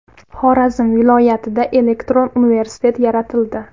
Xorazm viloyatida elektron universitet yaratildi.